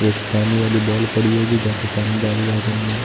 एक पानी वाली बॉल पड़ी है पानी डाली गार्डन में।